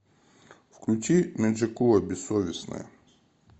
включи меджикула бессовестная